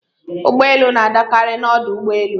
Ụgbọelu na-adakarị n'ọdụ ụgbọelu.